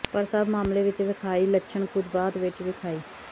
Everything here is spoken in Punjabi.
ਪਰ ਸਭ ਮਾਮਲੇ ਵਿੱਚ ਵੇਖਾਈ ਲੱਛਣ ਕੁਝ ਬਾਅਦ ਵਿੱਚ ਵਿਖਾਈ